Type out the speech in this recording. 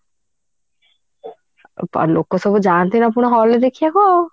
ତ ଲୋକ ସବୁ ଯାଆନ୍ତି ପୁଣି hall ରେ ଦେଖିବା କୁ